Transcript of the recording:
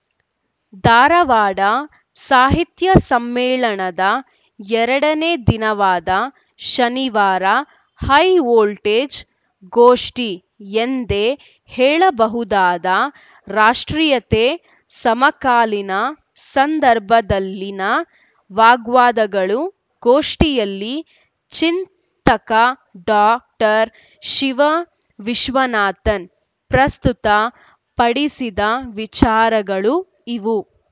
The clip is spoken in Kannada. ಧಾರವಾಡ ಸಾಹಿತ್ಯ ಸಮ್ಮೇಳನದ ಎರಡನೇ ದಿನವಾದ ಶನಿವಾರ ಹೈವೋಲ್ಟೇಜ್‌ ಗೋಷ್ಠಿ ಎಂದೇ ಹೇಳಬಹುದಾದ ರಾಷ್ಟ್ರೀಯತೆ ಸಮಕಾಲೀನ ಸಂದರ್ಭದಲ್ಲಿನ ವಾಗ್ವಾದಗಳು ಗೋಷ್ಠಿಯಲ್ಲಿ ಚಿಂತಕ ಡಾಕ್ಟರ್ ಶಿವ ವಿಶ್ವನಾಥನ್‌ ಪ್ರಸ್ತುತ ಪಡಿಸಿದ ವಿಚಾರಗಳು ಇವು